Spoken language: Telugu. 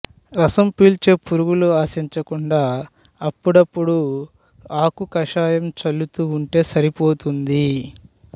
రసం పీల్చే పురుగులు ఆశించకుండా అప్పుడప్పుడూ ఆకు కషాయం చల్లుతూ ఉంటే సరిపోతుంది